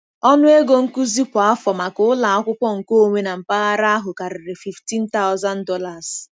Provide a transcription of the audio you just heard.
Ọnụ ego nkuzi kwa afọ maka ụlọ akwụkwọ nkeonwe na mpaghara ahụ karịrị $15,000.